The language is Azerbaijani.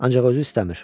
Ancaq özü istəmir.